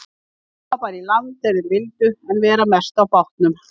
Koma bara í land þegar þeir vildu en vera mest á bátnum.